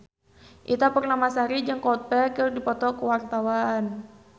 Ita Purnamasari jeung Coldplay keur dipoto ku wartawan